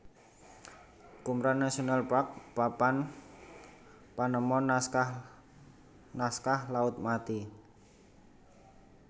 Qumran National Park Papan panemon Naskah naskah Laut Mati